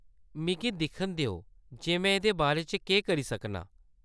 मिगी दिक्खन देओ जे में एह्‌‌‌दे बारे च केह्‌‌ करी सकनां ।